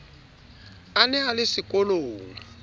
a ne a le sekolong